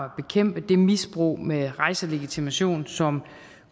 bekæmpe det misbrug med rejselegitimation som